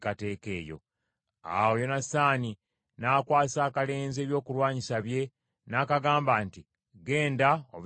Awo Yonasaani n’akwasa akalenzi ebyokulwanyisa bye, n’akagamba nti, “Genda, obizzeeyo mu kibuga.”